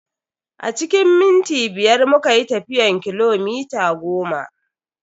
A cikin minti biyar muka yi tafiyan kilomita goma.